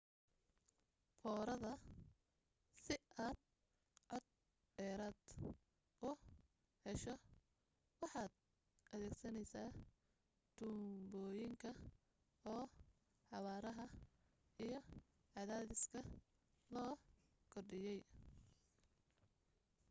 foorida si aad cod dheeraada u hesho waxaad adeegsanaysaa tuunbooyinka oo xawaaraha iyo cadaadiska loo kordhiyay